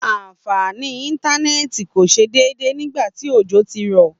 àǹfàní íntánẹ̀tì kò ṣe déédé nígbàtí òjò tí rọ̀